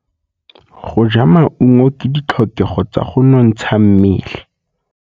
Go ja maungo ke ditlhokegô tsa go nontsha mmele.